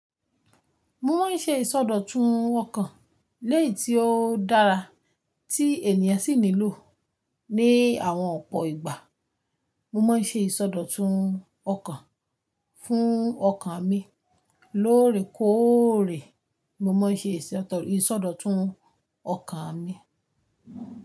Mo máa ń ṣe ìsọdọ̀tun ọkàn léyì tí ó dára tí ènìyàn sì nílò ní àwọn ọ̀pọ̀ ìgbà. Mo máa ń ṣe ìsọdọ̀tun ọkàn fún ọkàn mi lóòrèkóòrè. Mo mo ń ṣe ìsọdọ̀tun ọkàn mi.